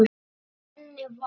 Fyrir henni var